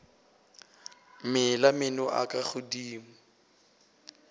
mela meno a ka godimo